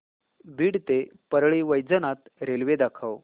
बीड ते परळी वैजनाथ रेल्वे दाखव